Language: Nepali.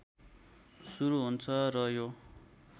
सुरु हुन्छ र यो